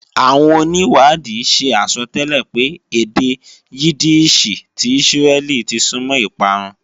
Àwọn onìwádìí ṣe àsọtẹ́lẹ̀ pé èdè Yídíìṣì ti Ísírẹ́lì ti súnmọ́ ìparun